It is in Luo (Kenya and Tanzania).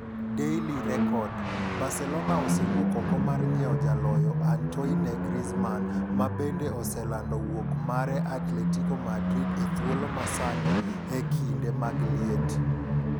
(Daily Record) Barcelona osewuok oko mar nyiewjaloyo Antoine Griezmann ma bende oselando wuok mare Atletico Madrid e thuolo ma sani e kinde mag liet.